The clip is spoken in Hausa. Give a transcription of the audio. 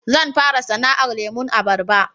Zan fara sana'ar lemon abarba